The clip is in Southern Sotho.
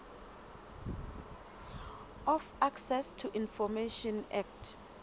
of access to information act